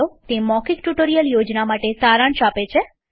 તે મૌખિક tutorial project માટે સારાંશ આપે છે